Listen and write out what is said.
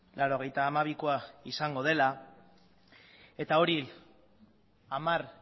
laurogeita hamabikoa izango dela eta hori hamar